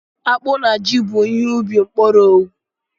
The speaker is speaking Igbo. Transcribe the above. Akpụ na Jị bụ ihe ubi mkpọrọogwu.